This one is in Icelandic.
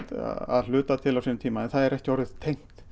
að hluta til á sínum tíma en það er ekki orðið tengt